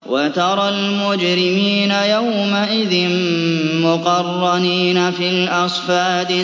وَتَرَى الْمُجْرِمِينَ يَوْمَئِذٍ مُّقَرَّنِينَ فِي الْأَصْفَادِ